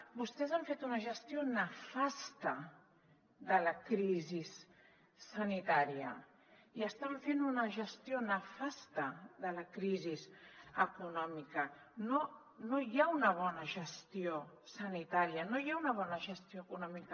vostès han fet una gestió nefasta de la crisi sanitària i estan fent una gestió nefasta de la crisi econòmica no hi ha una bona gestió sanitària no hi ha una bona gestió econòmica